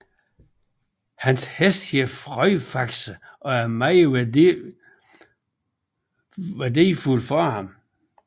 Hans hest hed Frøjfaxe og er meget værdifuld for ham